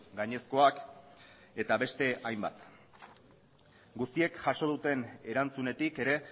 gainezkoak eta beste hainbat guztiek jaso duten erantzunetik ere